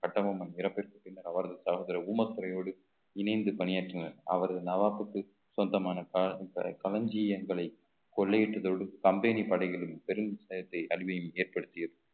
கட்டபொம்மன் இறப்பிற்குப் பின்னர் அவரது சகோதர ஊமகயோடு இணைந்து பணியாற்றினர் அவரது நவாப்க்கு சொந்தமான க~ க~ களஞ்சியங்களை கொள்ளையிட்டதோடு company படைகளும் பெரும் அழிவை ஏற்படுத்தியது